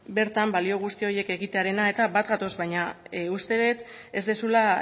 bertan balio guzti horiek egitearena bat gatoz baina uste dut ez duzula